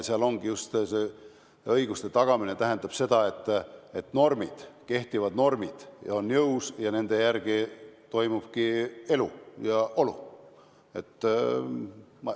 Õiguste tagamine tähendab seda, et kehtivad normid on jõus ja nende järgi toimubki elu ja olu.